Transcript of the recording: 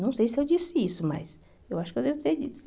Não sei se eu disse isso, mas eu acho que eu devo ter dito isso.